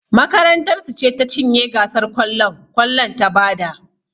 Makarantar su ce ta cinye gasar kwallon kwallon ta bada